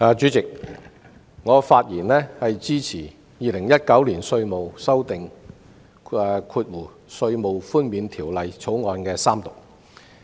主席，我發言支持三讀《2019年稅務條例草案》。